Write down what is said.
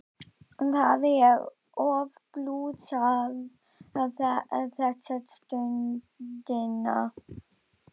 Það er of blúsað þessa stundina.